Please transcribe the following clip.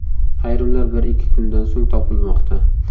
Ayrimlar bir-ikki kundan so‘ng topilmoqda.